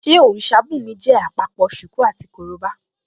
Ṣé òrìṣà bùnmi jẹ́ àpapọ̀ ṣùkú àti korobá?